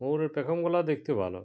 ওর ঐ পেখম গোলা দেখতে ভালো।